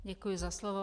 Děkuji za slovo.